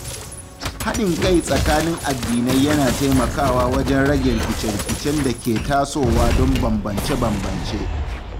Haɗin kai tsakanin addinai yana taimakawa wajen rage rikice-rikicen da ke tasowa don bambance-bambance.